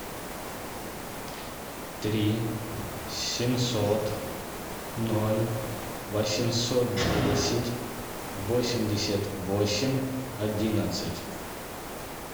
три семьсот ноль восемьсот десять восемьдесят восемь одиннадцать